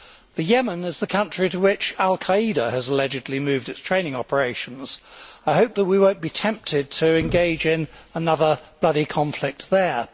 The Yemen is the country to which al Qa'ida has allegedly moved its training operations. I hope that we will not be tempted to engage in another bloody conflict there.